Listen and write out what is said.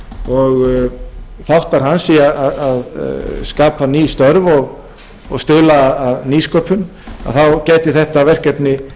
og þáttar hans í að skapa ný störf og stuðla að nýsköpun gæti þetta verkefni